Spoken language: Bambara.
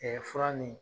fura nin